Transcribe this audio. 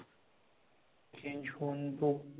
change होऊन